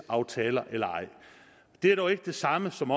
aftaler eller ej det er dog ikke det samme som